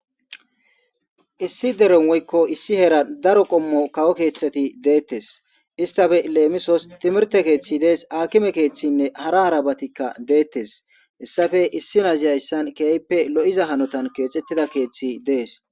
Issi deron woykko issi hera daro qommo kawo keeththati deettes istafe leemisos timirte keeththi dees akime keeththinne hara harabatikka deettes hessafe issi nazi hayssan kiyayppe lo7iza hanotan keexettida keeththi dees.